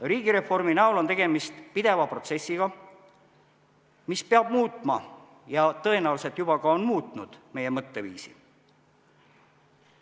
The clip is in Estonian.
Riigireform on pidev protsess, mis peab muutma ja tõenäoliselt juba ka on muutnud meie mõtteviisi.